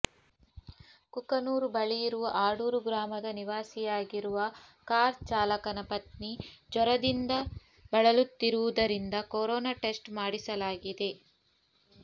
ಕುಕನೂರು ಬಳಿ ಇರುವ ಆಡೂರು ಗ್ರಾಮದ ನಿವಾಸಿಯಾಗಿರುವ ಕಾರ್ ಚಾಲಕನ ಪತ್ನಿ ಜ್ವರದಿಂದ ಬಳಲುತ್ತಿರುವುದರಿಂದ ಕೊರೋನಾ ಟೆಸ್ಟ್ ಮಾಡಿಸಲಾಗಿದೆ